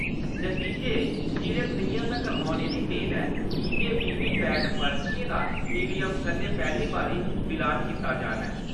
नतीजें चिरे स'ञां तक्कर औने दी मेद ऐ कि जे वीवीपैट पर्चीएं दा ईवीएम कन्नै पैह्ली बारी मिलान कीता जाना ऐ।